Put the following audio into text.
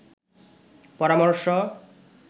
পরামর্শ